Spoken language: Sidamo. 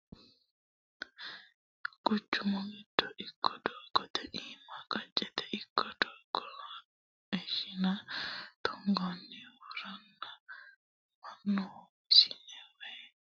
Quchumu giddo ikko doogate iima qacete ikko togoha ishine tunganiha worenna mannu ishine woyi xeqa lawinore hakko tuge sa"ano gede assinoniho quchumu keeranchima agarate yine.